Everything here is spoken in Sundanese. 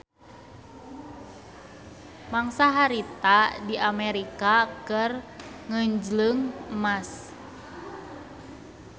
Mangsa harita di Amerika keur ngeunjleung emas.